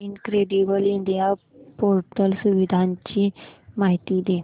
incredible India portal सुविधांची माहिती दे